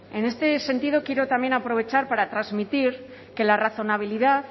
en este sentido quiero también aprovechar para transmitir que la razonabilidad